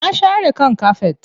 Na share kan kafet.